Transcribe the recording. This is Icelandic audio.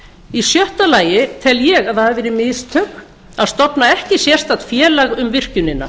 í sjötta lagi tel ég að það hafi verið mistök að stofna ekki sérstakt félag um virkjunina